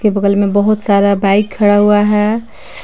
के बगल मे बहोत सारा बाइक खड़ा हुआ है।